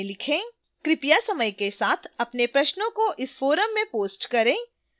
कृपया समय के साथ अपने प्रश्नों को इस forum में post करें